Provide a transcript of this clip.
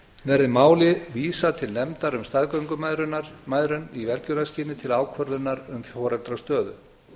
verði máli vísað til nefndar um staðgöngumæðrun í velgjörðarskyni til ákvörðunar um foreldrastöðu